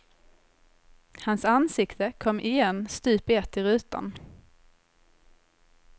Hans ansikte kom igen stup i ett i rutan.